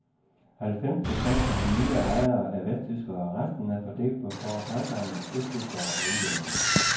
Halvfems procent af de nye ejere er vesttyskere, resten er fordelt på foretagsomme østtyskere og udlændinge.